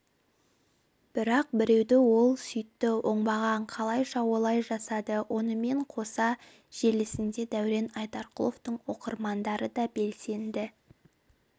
бірақ біреуді ол сүйтті оңбаған қалайша олай жасады онымен қоса желісінде дәурен айдарқұловтың оқырмандары да белсенді